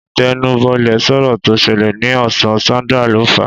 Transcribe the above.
Ìtẹnubọlẹ̀ sọ̀rọ̀ tó ṣẹlẹ̀ ní ọ̀sán, Sandra ló fàá